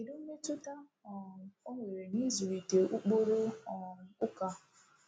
Kedu mmetụta um ọ nwere n’ịzụlite ụkpụrụ um ụka?